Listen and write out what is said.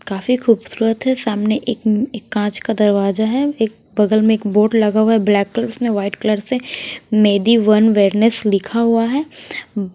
काफी खूबसूरत है सामने एक एक कांच का दरवाजा है एक बगल में एक बोर्ड लगा हुआ है ब्लैक कलर उसमें वाइट कलर से मेडी वन वेलनेस लिखा हुआ है।